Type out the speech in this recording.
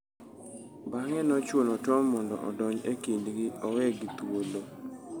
Bang'e nochuno Tom mondo odonj e kindgi owegi thuolo.